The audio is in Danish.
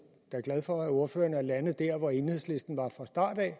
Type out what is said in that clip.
glad for at ordføreren er landet der hvor enhedslisten var fra start af